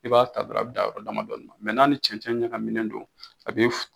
I b'a ta dɔrɔn a bɛ dan yɔrɔ dama dɔninna n'a ni cɛnɛn ɲakaminen do a bi